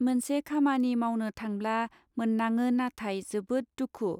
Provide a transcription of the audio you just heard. मोनसे खामानि मावनो थांब्ला माननाङो नाथाय जोबोद दुखु.